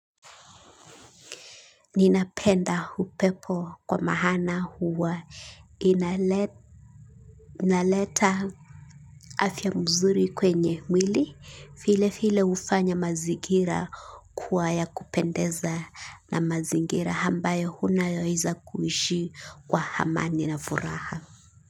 Ninapenda hupepo kwa mahana huwa inaleta afya mzuri kwenye mwili file file ufanya mazigira kuwa ya kupendeza na mazingira hambayo huna yoiza kuishi kwa hamani na furaha.